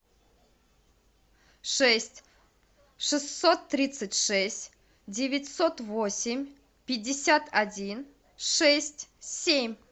шесть шестьсот тридцать шесть девятьсот восемь пятьдесят один шесть семь